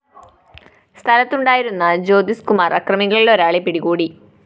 സ്ഥലത്തുണ്ടായിരുന്ന ജ്യോതിസ് കുമാര്‍ അക്രമികളിലൊരാളെ പിടികൂടി